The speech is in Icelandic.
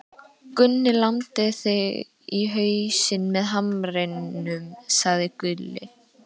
Gunni lamdi þig í hausinn með hamrinum, sagði Gulli.